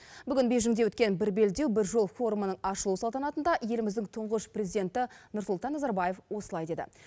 бейжіңде өткен бір белдеу бір жол форумының ашылу салтанатында еліміздің тұңғыш президенті нұрсұлтан назарбаев осылай деді